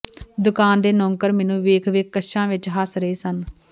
ਦੁਕਾਨ ਦੇ ਨੌਕਰ ਮੈਂਨੂੰ ਵੇਖ ਵੇਖ ਕੱਛਾਂ ਵਿੱਚ ਹੱਸ ਰਹੇ ਸਨ